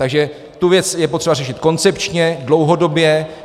Takže tu věc je potřeba řešit koncepčně, dlouhodobě.